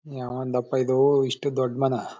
ಯಾವಂದಪ್ಪ ಇದು ಇಷ್ಷ್ಟು ದೊಡ್ಡ ಮರ.